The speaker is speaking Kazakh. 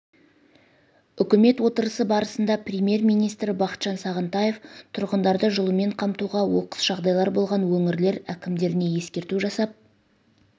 үкімет отырысы барысында премьер-министрі бақытжан сағынтаев тұрғындарды жылумен қамтуға оқыс жағдайлар болған өңірлер әкімдеріне ескерту жасап